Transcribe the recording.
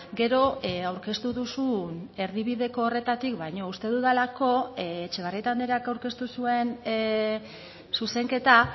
gero aurkeztu duzun erdibideko horretatik baino uste dudalako etxebarrieta andreak aurkeztu zuen zuzenketa